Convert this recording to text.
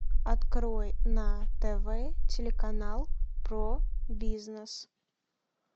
открой на тв телеканал про бизнес